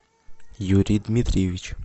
юрий дмитриевич